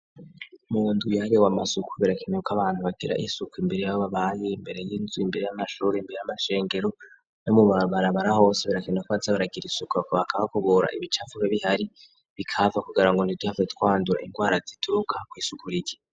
Mu nduyare we masuku birakenko abantu batera isuku imbere yabo babaye imbere y'inzu imbere y'amashura imbere y'amashengero no mu barbarabara hose brakenda koazabaragira isukurako bakaba kubura ibicavuge bihari bikava kugira ngo njiduhave twandura indgwara zituruka kw'isukura ika.